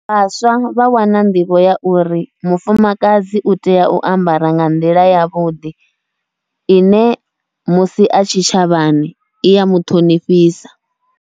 Vhaswa vha wana nḓivho ya uri mufumakadzi utea u ambara nga nḓila yavhuḓi, ine musi a tshitshavhani iya muṱhonifhisa.